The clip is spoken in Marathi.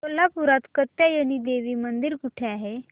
कोल्हापूरात कात्यायनी देवी मंदिर कुठे आहे